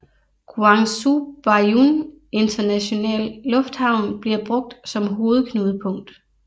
Guangzhou Baiyun Internationale Lufthavn bliver brugt som hovedknudepunkt